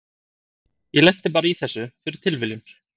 Ég lenti bara í þessu fyrir tilviljun.